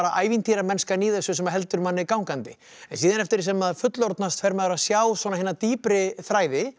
ævintýramennskan í þessu sem heldur manni gangandi en síðan eftir því sem maður fullorðnast fer maður að sjá hina dýpri þræði